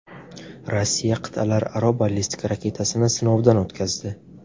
Rossiya qit’alararo ballistik raketasini sinovdan o‘tkazdi.